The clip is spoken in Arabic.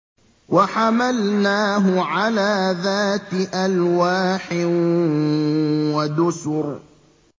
وَحَمَلْنَاهُ عَلَىٰ ذَاتِ أَلْوَاحٍ وَدُسُرٍ